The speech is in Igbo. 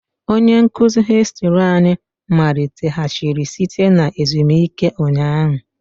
Onye nkuzi hìstiri anyị maliteghachiri site na ezumike ụnyaahụ